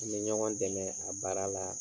An be ɲɔgɔn dɛmɛ a baara la